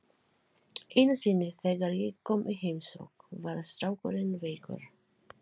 Einu sinni þegar ég kom í heimsókn var strákurinn veikur.